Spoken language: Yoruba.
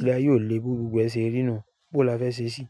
Ilé ayé ò le bí gbogbo ẹ ṣe rí inú. Bó la fẹ́ ṣe ṣí?